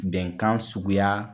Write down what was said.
Bɛnkan suguya